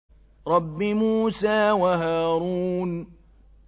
رَبِّ مُوسَىٰ وَهَارُونَ